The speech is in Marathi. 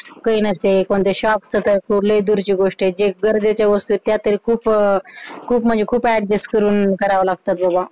काही नसते कोणते शोक तर दूरची गोष्ट आहे जे गरजेच्या गोष्टी आहे त्या तरी खूप, खूप म्हणजे खूप adjust करून करावं लागत बाबा